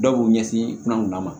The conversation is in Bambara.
Dɔw b'u ɲɛsin kunanw ma